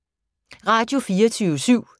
Radio24syv